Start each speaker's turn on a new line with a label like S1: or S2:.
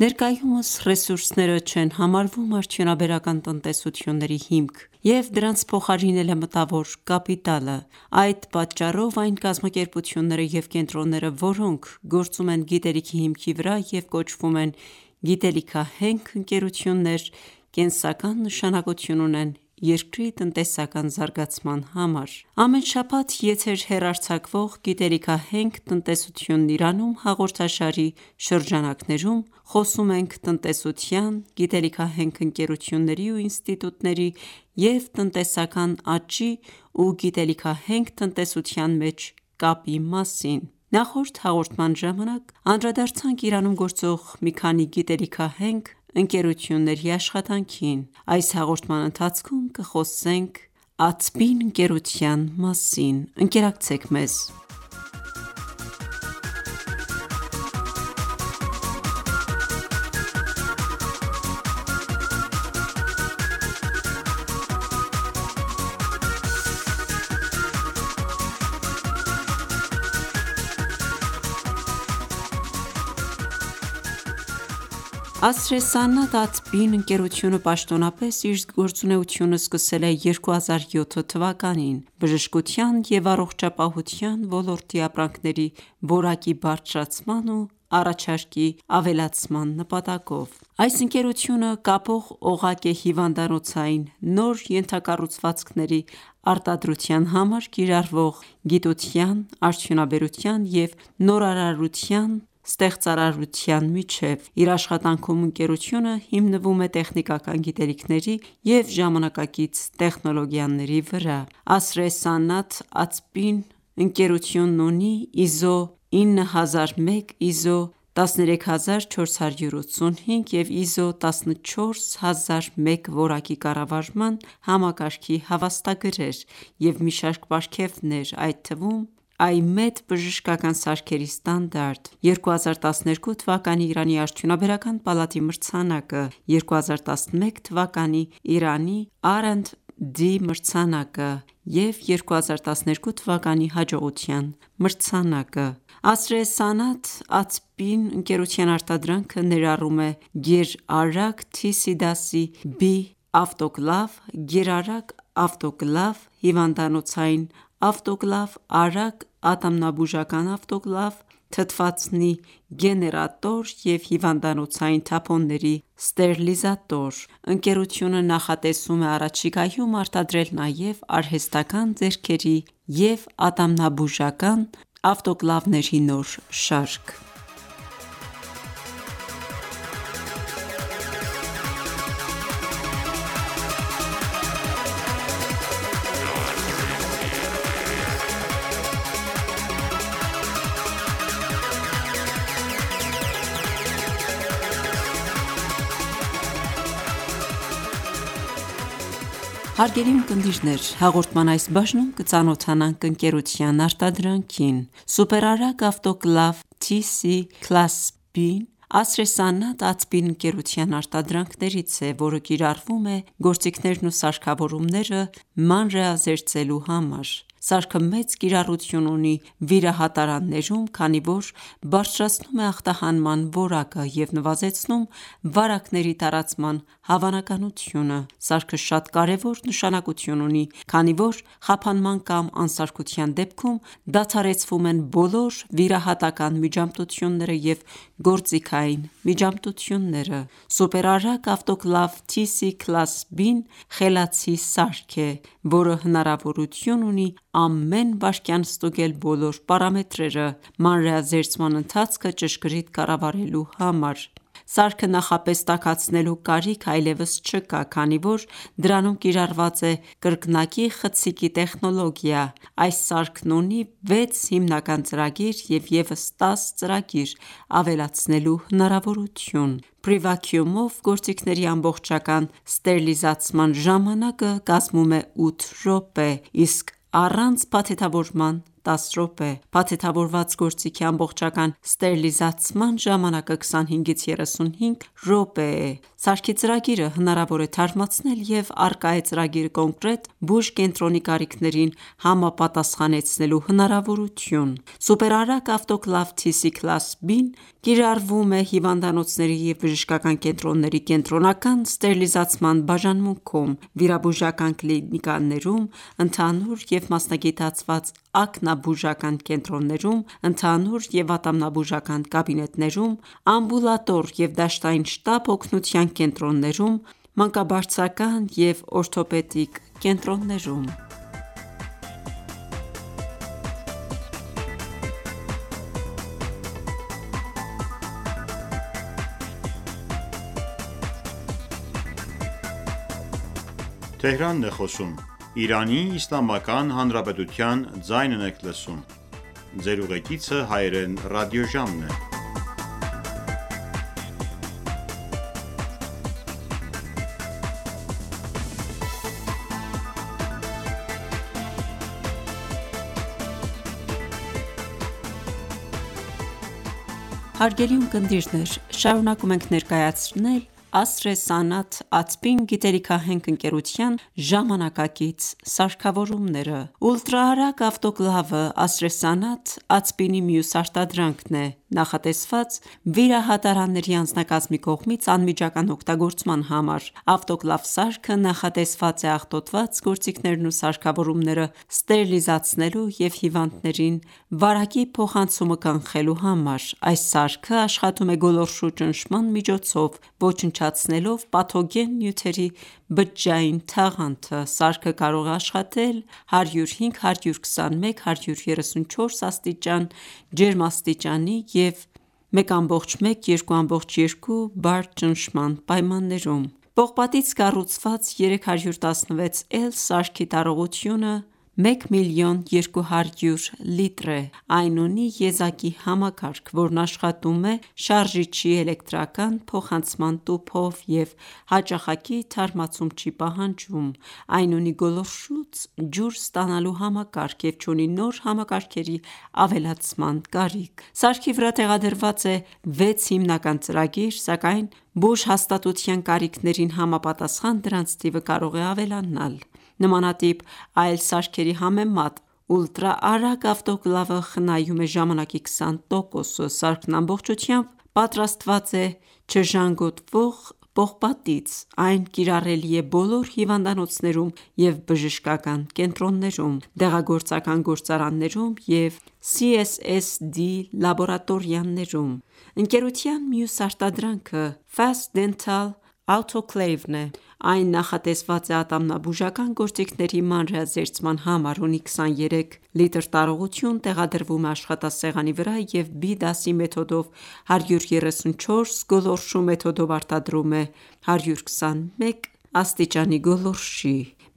S1: Ներկայումս ռեսուրսները չեն համարվում արդյունաբերական տնտեսությունների հիմք, և դրանց փոխարինել է մտավոր կապիտալը: Այդ պատճառով, այն կազմակերպությունները և կենտրոնները, որոնք գործում են գիտելիքի հիմքի վրա և կոչվում են գիտելիքահենք ընկերություններ, կենսական նշանակություն ունեն երկրի տնտեսական զարգացման համար։ Ամեն շաբաթ եթեր հեռարձակվող «Գիտելիքահենք տնտեսությունն Իրանում» հաղորդաշարի շրջանակներում խոսում ենք տնտեսության, գիտելիքահենք ընկերությունների ու ինստիտուտների և տնտեսական աճի ու գիտելիքահենք տնտեսության միջև կապի մասին։ Նախորդ հաղորդման ժամանակ անդրադարձանք Իրանում գործող միք անի գիտելիքահենք ընկերությունների աշխատանքին: Այս հաղորդման ընթացքում կխոսենք Atbin ընկերության մասին: Ընկերությունը պաշտոնապես իր գործունեությունը սկսել է 2007 թվականին՝ բժշկության և առողջապահության ոլորտի ապրանքների որակի բարձրացման ու առաջարկի ավելացման նպատակով: Այս ընկերությունը կապող օղակ է հիվանդանոցային նոր ենթակառուցվածքների արտադրության համար կիրառվող գիտության, արդյունաբերության և նորարարության, ստեղծարարության միջև: Իր աշխատանքում ընկերությունը հիմնվում է տեխնիկական գիտելիքների և ժամանակակից տեխնոլոգիաների վրա: Asr Sanat Atbin-ի ընկերությունն ունի ISO 9001, ISO 13485 և ISO 14001 Որակի կառավարման համակարգի հավաստագրեր և մի շարք պարգևներ, այդ թվում՝ IMED բժշկական սարքերի ստանդարտ, 2012 թվականի Իրանի արդյունաբերական պալատի մրցանակը, 2011 թվականի Իրանի R&D մրցանակը և 2012 թվականի հաջողության մրցանակը: Asr Sanat Atbin-ի արտադրանքը ներառում է գերարագ TC դասի B ավտոկլավ, գերարագ ավտոկլավ, հիվանդանոցային ավտոկլավ, արագ ատամնաբուժական ավտոկլավ, թթվածնի գեներատոր և հիվանդանոցային թափոնների ստերիլիզատոր: Ընկերությունը նախատեսում է առաջիկայում արտադրել նաև արհեստական ​​ձեռքերի և ատամնաբուժական ավտոկլավների նոր շարք: Հարգելի ունկնդիրներ, հաղորդման այս բաժնում կծանոթանանք ընկերության արտադրանքին։ Սուպեր արագ ավտոկլավ TC Class B-ը Asr Sanat Atbin ընկերության արտադրանքներից է, որը կիրառվում է գործիքներն ու սարքավորումները մանրէազերծելու համար: Սարքը մեծ կիրառություն ունի վիրահատարաններում, քանի որ բարձրացնում է ախտահանման որակը և նվազեցնում վարակների տարածման հավանականությունը: Սարքը շատ կարևոր նշանակություն ունի, քանի որ խափանման կամ անսարքության դեպքում դադարեցվում են բոլոր վիրահատական ​​միջամտությունները և գործիքային միջամտությունները: Սուպեր արագ ավտոկլավ TC Class B-ը խելացի սարք է, որը հնարավորություն ունի ամեն վայրկյան ստուգել բոլոր պարամետրերը՝ մանրէազերծման ընթացքը ճշգրիտ կառավարելու համար։ Սարքը նախապես տաքացնելու կարիք այլևս չկա, քանի որ դրանում կիրառված է կրկնակի խցիկի տեխնոլոգիա: Այս սարքն ունի 6 հիմնական ծրագիր և ևս 10 ծրագիր ավելացնելու հնարավորթյուն: Prevacuum-ով գործիքների ամբողջական ստերիլիզացման ժամանակը կազմում է 8 րոպե, իսկ առանց փաթեթավորման՝ 10 րոպե: Փաթեթավորված գործիքի ամբողջական ստերիլիզացման ժամանակը 25-35 րոպե է: Սարքի ծրագիրը հնարավոր է թարմացնել և առկա է ծրագիրը կոնկրետ բուժկենտրոնի կարիքներին համապատասխանեցնելու հնարավորություն: Սուպեր արագ ավտոկլավ TC Class B սարքը կիրառվում է հիվանդանոցների և բժշկական կենտրոնների կենտրոնական ստերիլիզացման բաժանմունքում, վիրաբուժական կլինիկաներում, ընդհանուր և մասնագիտացված, ակնաբուժական կենտրոններում, ընդհանուր և ատամնաբուժական կաբինետներում, ամբուլատոր և դաշտային շտապ օգնության կենտրոններում, մանկաբարձական և օրթոպեդիկ կենտրոններում: Հարգելի ունկնդիրներ, շարունակում ենք ներկայացնել Asr Sanat Atbin գիտելքիահենք ընկերության ժամանակակից սարքավորումները։ Ուլտրաարագ ավտոկլավը Asr Sanat Atbin-ի մյուս արտադրանքն է՝ նախատեսված վիրահատարանների անձնակազմի կողմից անմիջական օգտագործման համար: Ավտոկլավ սարքը նախատեսված է աղտոտված գործիքներն ու սարքավորումները ստերիլիզացնելու և հիվանդներին վարակի փոխանցումը կանխելոււ համար: Այս սարքը աշխատում է գոլորշու ճնշման միջոցով՝ ոչնչացնելով պաթոգեն նյութերի բջջային թաղանթը: Սարքը կարող է աշխատել 105-121-134 աստիճան ջերմաստիճանի և 1,1-2,2 բար ճնշման պայմաններում Պողպատից կառուցված 316 L սարքի տարողությունը 1000200 լիտր է: Այն ունի եզակի համակարգ, որն աշխատում է շարժիչի էլեկտրական փոխանցման տուփով և հաճախակի թարմացում չի պահանջում: Այն ունի գոլորշուց ջուր ստանալու համակարգ և չունի նոր համակարգերի ավելացման կարիք: Սարքի վրա տեղադրված է 6 հիմնական ծրագիր, սակայն բուժհաստատության կարիքներին համապատասխան, դրանց թիվը կարող է ավելանալ: Նմանատիպ այլ սարքերի համեմատ, ուլտրաարագ ավտոկլավը խնայումէ ժամանակի 20 տոկոսը: Սարքն ամբողջությամբ ևպատարստված է չժանգոտվող պողպատից: Այն կիրառելի է բոլոր հիվանդանոցներում և բժշկական կենտրոններում, դեղագործական գործարաններում և CSSD լաբորատորիաներում: Ընկերության մյուս արտադրանքը Fast dental autoclave (Labos)-ն է: Այն նախատեսված է ատամնաբուժական գործիքների մանրէազերծման համար, ունի 23 լ տարողություն, տեղադրվում է աշխատասեղանի վրա և B դասի մեթոդով 134 գոլորշու մեթոդով արտադրում է 121°C գոլորշի: